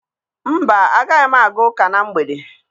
Mba, agaghị m aga ụka na mgbede.